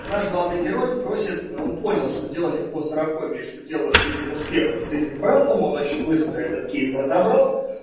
наш главный герой просит он понял что дело не в клаустрофобии что делать с этим успехом с этим братом он очень быстро этот кейс разобрал